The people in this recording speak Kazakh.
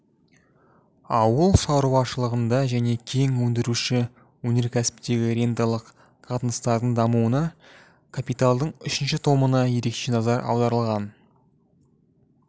ауыл шаруашылығында және кен өндіруші өнеркәсіптегі ренталық қатынастардың дамуына капиталдың үшінші томында ерекше назар аударылған